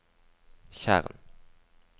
tjern